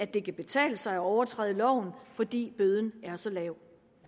det kan betale sig at overtræde loven fordi bøden er så lav